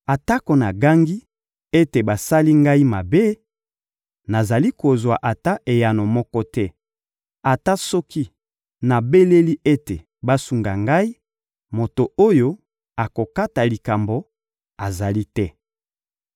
Atako nagangi ete basali ngai mabe, nazali kozwa ata eyano moko te; ata soki nabeleli ete basunga ngai, moto oyo akokata likambo azali te.